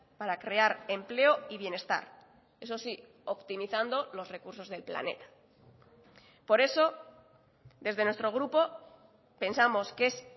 para crear empleo y bienestar eso sí optimizando los recursos del planeta por eso desde nuestro grupo pensamos que es